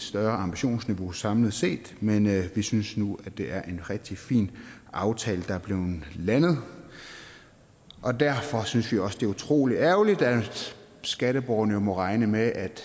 større ambitionsniveau samlet set men vi synes nu det er en rigtig fin aftale der er blevet landet derfor synes vi også det er utrolig ærgerligt at skatteborgerne jo må regne med at